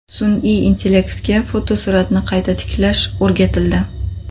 Sun’iy intellektga fotosuratni qayta tiklash o‘rgatildi.